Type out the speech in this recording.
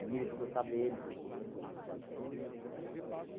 E ele ficou sabendo por boca de outras pessoas e tal.